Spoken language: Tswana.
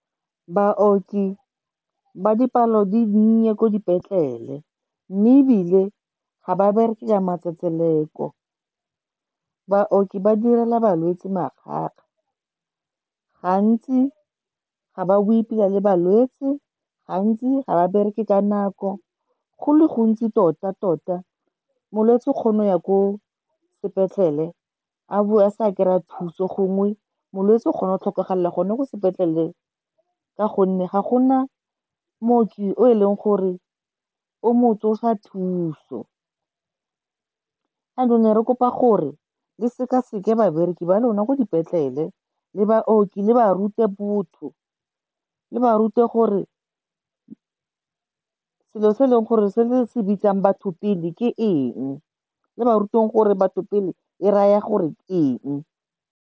Baoki ba dipalo di dinnye ko dipetlele, mme ebile ga ba bereke ka matsetseleko. Baoki ba direla balwetse makgakga, gantsi ga ba bue pila le balwetse, gantsi ga ba bereke ka nako. Go le gontsi tota-tota, molwetse o kgono ya ko sepetlele, a bo a sa kry-a thuso, gongwe molwetse o kgona go tlhokafala go ne ko sepetlele ka gonne ga go na mooki o e leng gore o mo tsosa thuso. Jaanong ne re kopa gore le sekaseke babereki ba lona ko dipetlele, le baoki, le ba rute botho. Le ba rute gore selo se e leng gore se le se bitsang batho pele ke eng, le ba ruteng gore batho pele e raya gore eng.